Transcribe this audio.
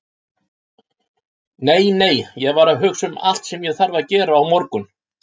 Nei, nei, ég var að hugsa um allt sem ég þarf að gera á morgun.